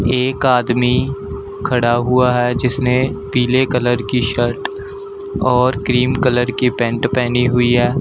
एक आदमी खड़ा हुआ है जिसने पीले कलर की शर्ट और क्रीम कलर की पैंट पहनी हुई है।